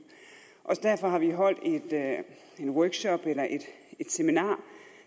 derfor har vi holdt en workshop et seminar